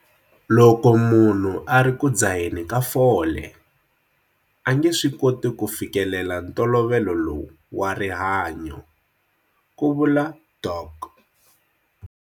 Loko munhu a ri ku dzaheni ka fole, a nge swi koti ku fikelela ntolovelo lowu wa rihanyo, ku vula Dok.